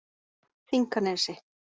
Þinganesi